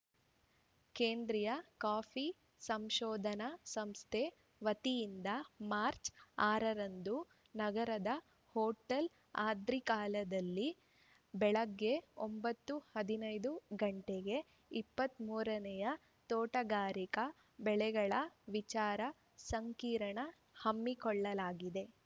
ಕೇಂದ್ರಿಯ ಕಾಫಿ ಸಂಶೋಧನಾ ಸಂಸ್ಥೆ ವತಿಯಿಂದ ಮಾರ್ಚ್ ಆರ ರಂದು ನಗರದ ಹೊಟೇಲ್‌ ಆದ್ರಿಕಾದಲ್ಲಿ ಬೆಳಗ್ಗೆ ಒಂಬತ್ತು ಹದಿನೈದು ಗಂಟೆಗೆ ಇಪ್ಪತ್ತ್ ಮೂರ ನೇ ತೋಟಗಾರಿಕಾ ಬೆಳೆಗಳ ವಿಚಾರ ಸಂಕಿರಣ ಹಮ್ಮಿಕೊಳ್ಳಲಾಗಿದೆ